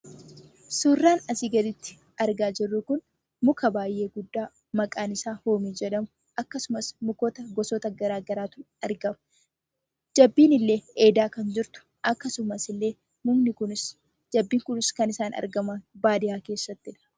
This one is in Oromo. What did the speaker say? Suuraan asii gaditti arginu kun muka baay'ee guddaa hoomii jedhamudha. Akkasumas mukkoota gosoota garaagaraatu argama. Jabbiin illee kan dheedaa jirtu akkasumallee mukni kunis jabbiin kunis kan isaan argaman baadiyyaa keessattidha.